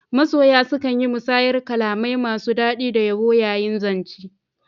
Masoya sukan yi musayar kalamai masu dadi da yabo yayin zance.